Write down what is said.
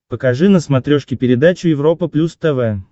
покажи на смотрешке передачу европа плюс тв